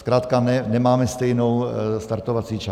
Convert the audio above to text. Zkrátka nemáme stejnou startovací čáru.